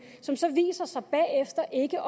som så viser sig bagefter ikke